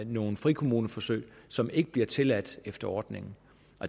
nogle frikommuneforsøg som ikke bliver tilladt efter ordningen